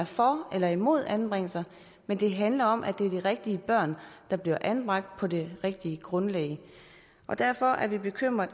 for eller imod anbringelser men det handler om at det er de rigtige børn der bliver anbragt på det rigtige grundlag og derfor er vi bekymrede